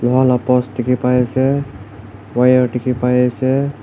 loha la post dikhi pai ase wire dikhi pai ase.